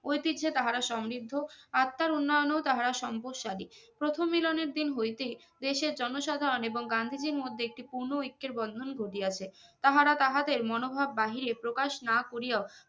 ঐতিহ্য এ তাহারা সমৃদ্ধ আত্মার উন্নয়ন ও তাহারা সম্পদশালী প্রথম মিলনের দিন হইতে দেশের জন সাধারণ এবং গান্ধীজির মধ্যে একটি পুর্নো ঐক্যের বন্ধন ঘটিয়াছে তাহারা তাহাদের মনোভাব বাহিরে প্রকাশ না করিয়া ও